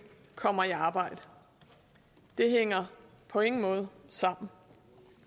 kommer i arbejde det hænger på ingen måde sammen